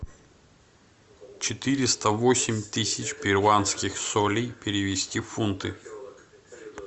четыреста восемь тысяч перуанских солей перевести в фунты